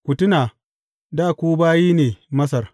Ku tuna dā ku bayi ne Masar.